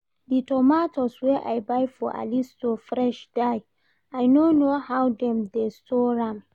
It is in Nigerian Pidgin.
The tomatoes wey I buy for Ali store fresh die, I no know how dem dey store am